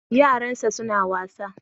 Yaran sa suna wasa